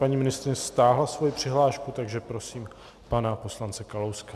Paní ministryně stáhla svoji přihlášku, takže prosím pana poslance Kalouska.